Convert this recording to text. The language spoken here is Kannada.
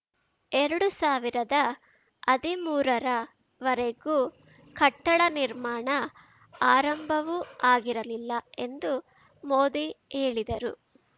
ಎರಡು ಸಾವಿರದ ಅದಿಮೂರ ರವರೆಗೂ ಕಟ್ಟಡ ನಿರ್ಮಾಣ ಆರಂಭವೂ ಆಗಿರಲಿಲ್ಲ ಎಂದೂ ಮೋದಿ ಹೇಳಿದರು